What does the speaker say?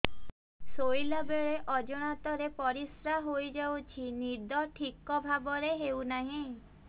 ଶୋଇଲା ବେଳେ ଅଜାଣତରେ ପରିସ୍ରା ହୋଇଯାଉଛି ନିଦ ଠିକ ଭାବରେ ହେଉ ନାହିଁ